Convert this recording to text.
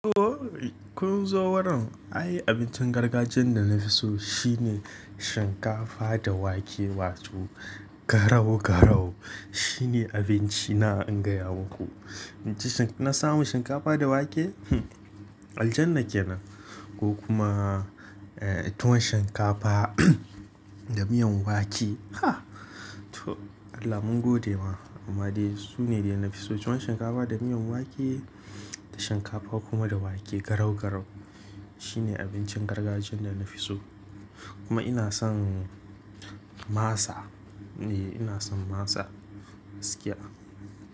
Ooo! Kun zo worin, ayi abincin gargajiyan da na fi so shine shinkafa da wake wato garau-garau shine abinci na inga yamuku. In ji na samu shinkafa da wake, hmmm! Aljanna kenan ko kuma eh tuwon shinkafa da miyan wake, ah! To Allah mun gode ma amma dai sune da na fi so. Tuwon shinkafa da miyan wake da shinkafa kuma da wake garau-garau shine abincin gargajiyan da na fi so. Kuma ina son masa, eh ina son masa gaskiya.